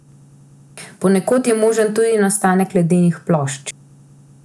Ponekod je možen tudi nastanek ledenih plošč.